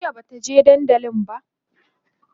jiya Bata je dandali ba